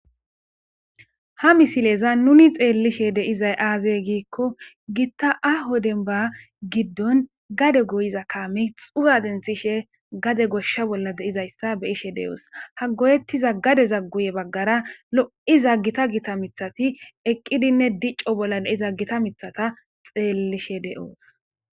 ha misileza nuni xeellishe deizay aazey giikko gitta a hodenba giddon gade goyiza kaame xuga denthishe gade goshsha bolla deizayssa be ishe de7oos ha goyettiza gade zagguye baggara lo7i zaggita gita mithati eqqidinne dicco bollaei zaggita mithata xeellishe de7oos